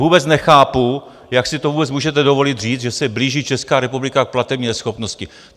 Vůbec nechápu, jak si to vůbec můžete dovolit říct, že se blíží Česká republika k platební neschopnosti.